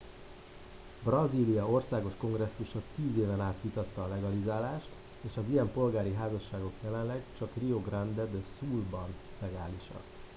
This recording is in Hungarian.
brazília országos kongresszusa 10 éven át vitatta a legalizálást és az ilyen polgári házasságok jelenleg csak rio grande do sul ban legálisak